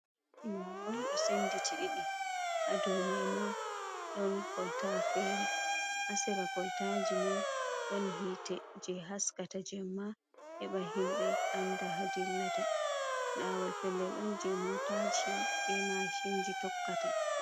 Lawol on senditi ɗiɗi hadow mai ma ɗon kolta fere asera koltaji mai ɗon hite je haskata jemma heɓa himɓɓe anda ha dillata lawol pellel on je motaji be mashinji tokkata.